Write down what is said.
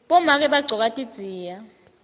bomake bagcoka tidziya